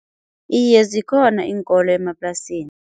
Iye zikhona iinkolo emaplasini.